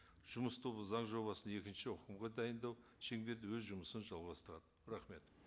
жұмыс тобы заң жобасын екінші оқылымға дайындау шеңберінде өз жұмысын жалғастырады рахмет